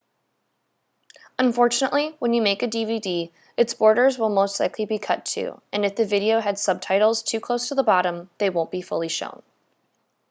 unfortunately when you make a dvd it's borders will most likely be cut too and if the video had subtitles too close to the bottom they won't be fully shown